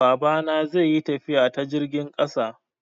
Babana zai yi tafiya ta jirgin ƙasa.